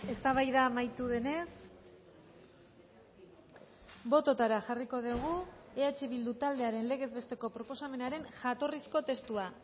eztabaida amaitu denez bototara jarriko dugu eh bildu taldearen legez besteko proposamenaren jatorrizko testua